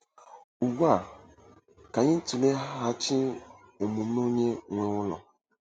Ugbu a, ka anyị tụleghachi omume onye nwe ụlọ.